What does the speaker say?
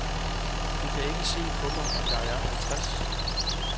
Du kan ikke se på mig, at jeg er halvtreds.